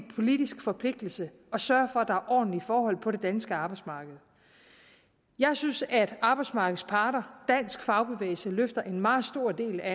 politisk forpligtelse at sørge for at der er ordentlige forhold på det danske arbejdsmarked jeg synes at arbejdsmarkedets parter dansk fagbevægelse løfter en meget stor del af